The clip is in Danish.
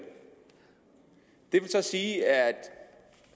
det vil så sige at